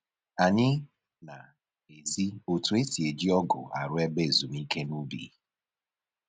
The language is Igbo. Anyị na-ezi otu e si otu e si eji ọgụ arụ ebe ezumike n'ubi